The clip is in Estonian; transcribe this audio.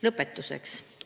Lõpetuseks.